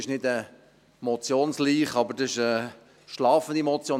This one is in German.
Es ist nicht eine Motionsleiche, aber es ist eine schlafende Motion.